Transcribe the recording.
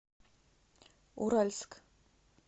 уральск